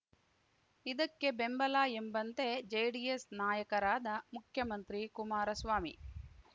ಇದಕ್ಕೆ ಬೆಂಬಲ ಎಂಬಂತೆ ಜೆಡಿಎಸ್‌ ನಾಯಕರಾದ ಮುಖ್ಯಮಂತ್ರಿ ಕುಮಾರಸ್ವಾಮಿ